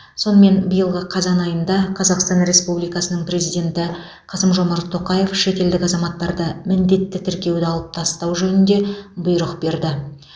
сонымен биылғы қазан айында қазақстан республикасының президенті қасым жомарт тоқаев шетелдік азаматтарды міндетті тіркеуді алып тастау жөнінде бұйрық берді